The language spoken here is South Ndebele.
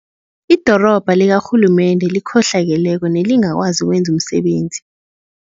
Idorobha likarhulumende elikhohlakeleko nelingakwazi ukwenza umsebenzi.